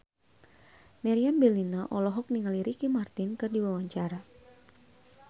Meriam Bellina olohok ningali Ricky Martin keur diwawancara